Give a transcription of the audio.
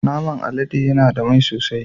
Naman alade yana da mai sosai.